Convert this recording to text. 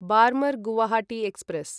Barmer Guwahati express